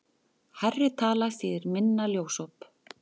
Hærri tala þýðir minna ljósop.